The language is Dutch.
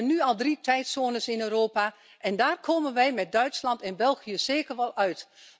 We hebben nu al drie tijdzones in Europa en daar komen wij met Duitsland en België zeker wel uit.